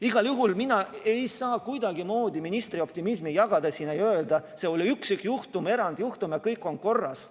Igal juhul mina ei saa kuidagimoodi ministri optimismi jagada ja öelda, see oli üksikjuhtum, erandjuhtum ja kõik on korras.